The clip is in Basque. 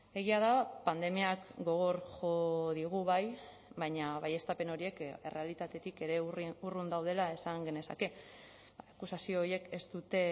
egia da pandemiak gogor jo digu bai baina baieztapen horiek errealitatetik ere urrun daudela esan genezake akusazio horiek ez dute